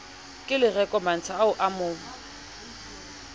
kelereko mantsha o a mo